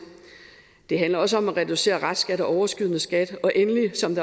det handler også om at reducere restskat og overskydende skat og endelig som